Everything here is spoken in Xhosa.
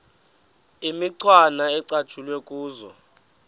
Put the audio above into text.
imicwana ecatshulwe kuzo